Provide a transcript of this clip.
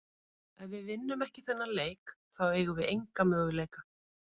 Ef við vinnum ekki þennan leik þá eigum við enga möguleika.